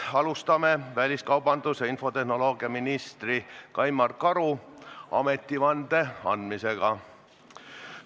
Alustame väliskaubandus- ja infotehnoloogiaminister Kaimar Karu ametivande andmisega.